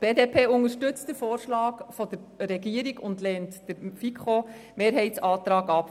Die BDP unterstützt den Vorschlag der Regierung und lehnt den FiKo-Mehrheitsantrag ab.